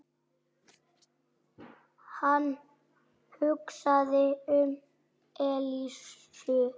Hann hugsaði um Elísu.